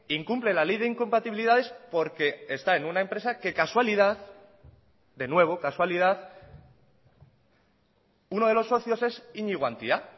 incumple la ley de incompatibilidades porque está en una empresa que casualidad de nuevo casualidad uno de los socios es iñigo antia